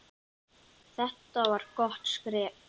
Þetta var gott skref.